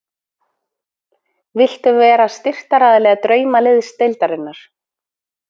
Viltu vera styrktaraðili Draumaliðsdeildarinnar?